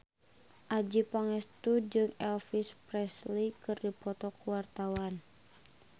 Adjie Pangestu jeung Elvis Presley keur dipoto ku wartawan